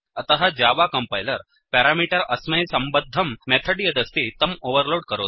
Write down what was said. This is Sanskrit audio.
अतः जावा कम्पैलर् पेरामीटर् अस्मै सम्बद्धं मेथड् यदस्ति तम् ओवेर्लोड् करोति